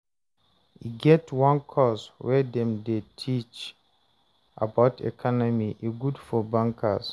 e get one course way Dem dy teach about economy, e good for bankers